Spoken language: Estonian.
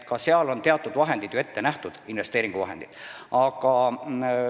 Selleks on ka teatud investeeringuvahendid ette nähtud.